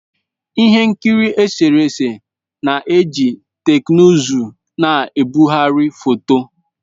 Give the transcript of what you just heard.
Ihe nkiri eserese na-eji teknụzụ na-ebugharị foto